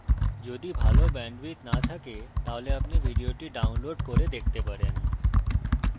যদি ভাল bandwidth না থাকে তাহলে আপনি ভিডিওটি download করে দেখতে পারেন